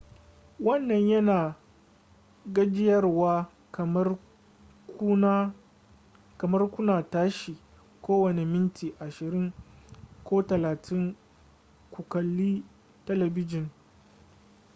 wannan yana da gajiyarwa kamar kuna tashi kowane minti ashirin ko talatin ku kalli talabijin